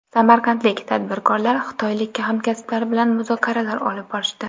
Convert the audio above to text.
Samarqandlik tadbirkorlar xitoylik hamkasblari bilan muzokaralar olib borishdi.